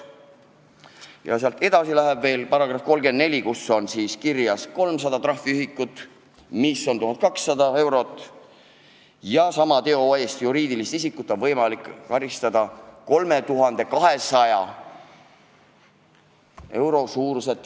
Ja sealt edasi, § 34: eestikeelse tõlke puudumise eest teatud juhtudel karistatakse rahatrahviga kuni 300 trahviühikut, mis on 1200 eurot, ja juriidilist isikut trahviga kuni 3200 eurot.